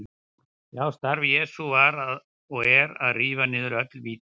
Já, starf Jesú var og er að rífa niður öll víti.